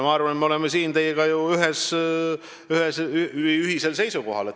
Ma arvan, et me oleme siin ju ühisel seisukohal.